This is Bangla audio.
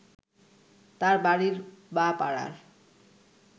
তাঁর বাড়ির বা পাড়ার